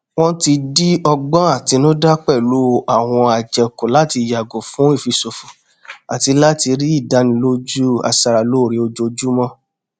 wọn ti di ọgbọn àtinúdá pẹlú àwọn àjẹkù láti yàgò fún ìfiṣòfò àti láti rí ìdánilójú aṣara lóore ojoojúmọ